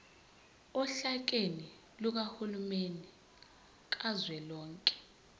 ohlakeni lukahulumeni kazwelonke